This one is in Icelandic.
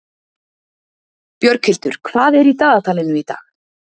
Björghildur, hvað er í dagatalinu í dag?